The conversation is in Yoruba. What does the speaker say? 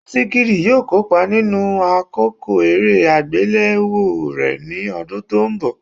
Wisikid yóò kópa nínú àkọ́kọ́ eré àgbéléwò rẹ̀ ní ọdún tó ń bi